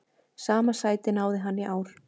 Sama sæti náði hann í ár.